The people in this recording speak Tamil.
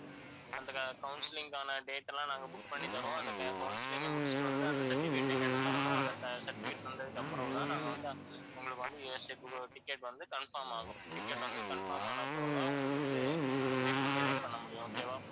அந்த counselling க்கான date எல்லாம் நாங்க book பண்ணித் தருவோம் அந்த counselling ஐ முடிச்சிட்டு வந்து அந்த certificate அ எங்ககிட்ட தரணும்அந்த ce~ certificate தந்ததுக்கு அப்புறம்தான் நாங்க வந்து உங்களுக்கு வந்து USA க்கு ticket வந்து confirm ஆகும். ticket வந்து confirm ஆன பிறகுதான் உங்களுக்கு வந்து மேற்கொண்டு எதையும் பண்ண முடியும் okay வா